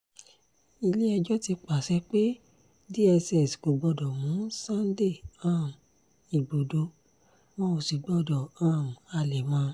ilé-ẹjọ́ ti pàṣẹ pé dss kò gbọdọ̀ mú sunday um igbodò wọn ò sì gbọdọ̀ um halẹ̀ mọ́ ọn